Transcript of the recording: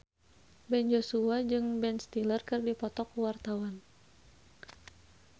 Ben Joshua jeung Ben Stiller keur dipoto ku wartawan